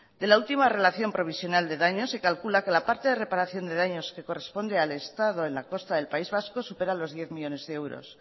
de la ultima relación provisional de daños se calcula que la parte de reparación de daños que corresponde al estado en la costa del país vasco supera los diez millónes de euros